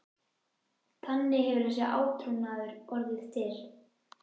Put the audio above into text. Þannig hefur þessi átrúnaður orðið til.